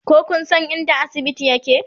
ko Kun San inda asibiti yake?